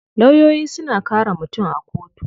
Lawyoyi suna kare mutum a kotu.